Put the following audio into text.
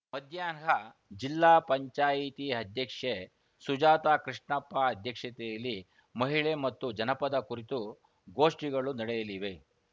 ಮಧ್ಯಾಹ್ನ ಜಿಲ್ಲಾಪಂಚಾಯತಿ ಅಧ್ಯಕ್ಷೆ ಸುಜಾತ ಕೃಷ್ಣಪ್ಪ ಅಧ್ಯಕ್ಷತೆಯಲ್ಲಿ ಮಹಿಳೆ ಮತ್ತು ಜನಪದ ಕುರಿತು ಗೋಷ್ಠಿಗಳು ನಡೆಯಲಿವೆ